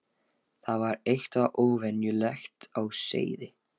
Það var eitthvað óvenjulegt á seyði.